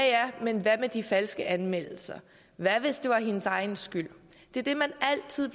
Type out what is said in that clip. men hvad med de falske anmeldelser hvad hvis det var hendes egen skyld det er det man altid